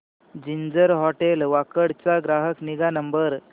ginger Hotel Wakad चा ग्राहक निगा नंबर